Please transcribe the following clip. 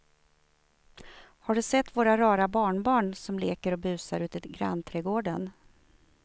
Har du sett våra rara barnbarn som leker och busar ute i grannträdgården!